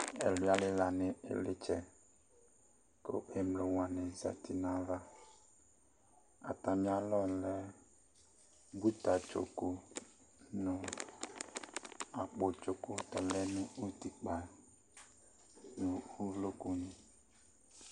Ɛluia lila nʋ ilitsɛ, kʋ emlo wani zati nayavaƐtamialɔ lɛ buta tso ku , nu akpo tsoku lɛ nʋ utikpa, nu uvloku ni